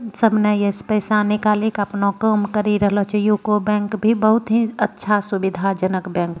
सबने यहाँ से पैसा निकाली के अपना काम करी रहलो छे यूको बैंक भी बहुत ही अच्छा सुविधाजनक बैंक --